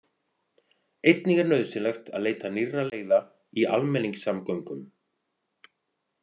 Einnig er nauðsynlegt að leita nýrra leiða í almenningssamgöngum.